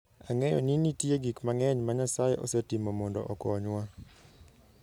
Ang'eyo ni nitie gik mang'eny ma Nyasaye osetimo mondo okonywa.